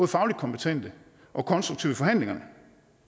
fagligt kompetente og konstruktive i forhandlingerne